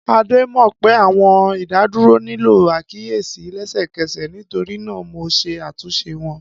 Ade mọ pe, Awọn idaduro nilo akiyesi lẹsẹkẹsẹ, nitorinaa Mo ṣe atunṣe wọn.